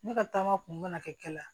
Ne ka taama kun bɛna kɛ